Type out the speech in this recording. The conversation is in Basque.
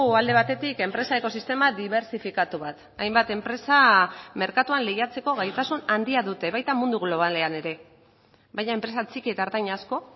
alde batetik enpresa ekosistema dibertsifikatu bat hainbat enpresa merkatuan lehiatzeko gaitasun handia dute baita mundu globalean ere baina enpresa txiki eta ertain asko